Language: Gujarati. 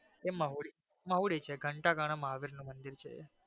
એ મહોરી મોવડી છે ઘંટાઘરા મહાદેવ નું મંદિર છે.